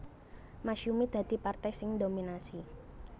Masyumi dadi partai sing ndominasi